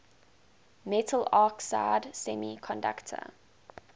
metal oxide semiconductor